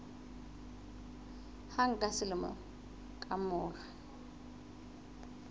hang ka selemo ka mora